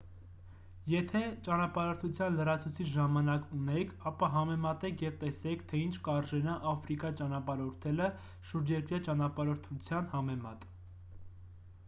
եթե ​​ճանապարհորդության լրացուցիչ ժամանակ ունեք ապա համեմատեք և տեսեք թե ինչ կարժենա աֆրիկա ճանապարհորդելը՝ շուրջերկրյա ճանապարհորդության համեմատ: